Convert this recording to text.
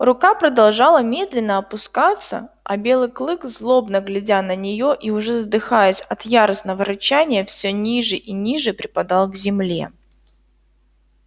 рука продолжала медленно опускаться а белый клык злобно глядя на неё и уже задыхаясь от яростного рычания всё ниже и ниже припадал к земле